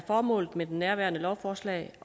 formålet med nærværende lovforslag